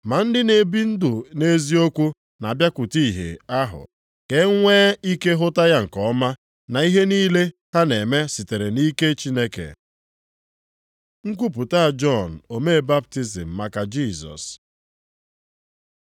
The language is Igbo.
Ma ndị na-ebi ndụ nʼeziokwu na-abịakwute ìhè ahụ, ka e nwee ike hụta ya nke ọma, na ihe niile ha na-eme sitere na ike Chineke. Nkwupụta Jọn omee baptizim maka Jisọs